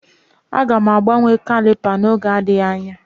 Aga m agbanwe caliper m n'oge adịghị anya